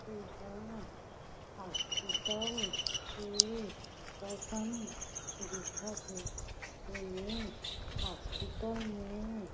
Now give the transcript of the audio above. एह हॉस्पिटल हे कसन दिखत हे ऐमें हॉस्पिटल में --